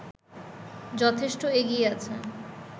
যথেষ্ট এগিয়ে আছে